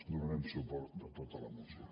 donarem suport a tota la moció